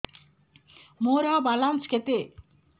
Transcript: ମୋର ବାଲାନ୍ସ କେତେ